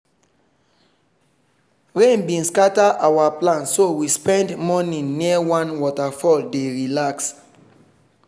rain bin scatter our plan so we spend morning near one waterfall dey relax.